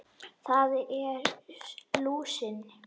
Það er lúsin.